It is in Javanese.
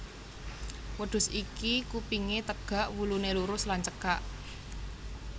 Wêdhus iki kupingé têgak wuluné lurus lan cêkak